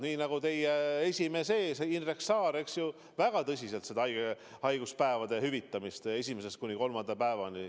Nii nagu teie esimees Indrek Saar väga tõsiselt ajab seda haiguspäevade hüvitamist esimesest kuni kolmanda päevani.